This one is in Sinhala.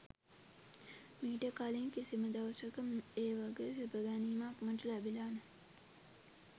මීට කලින් කිසිම දවසක ඒ වගේ සිප ගැනීමක් මට ලැබිලා නෑ.